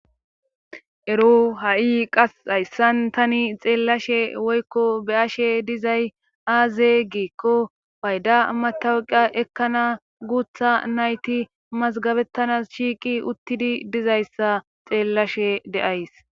ero ha7i qas hayssan tani xeellashe woykko be ashe dizay aaze giko payda matawuqa ekkana guutha nayti mazgabettana shiiqi uttidi dizayssa xeellashe deays